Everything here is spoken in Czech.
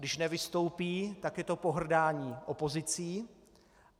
Když nevystoupí, tak je to pohrdání opozicí.